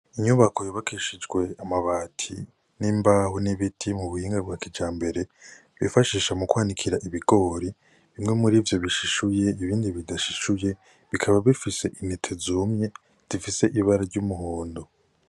Inyubako yubakishijwe amabati n'imbaho nibiti mu buhinga bwa kijambere, bifashisha mukwanikira ibigori bimwe mirivyo bishishuye ibindi bidashishuye bikaba bifise intete zumye zifise ibara ry'umuhondo.